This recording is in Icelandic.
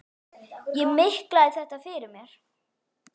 Ég miklaði þetta fyrir mér.